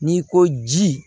N'i ko ji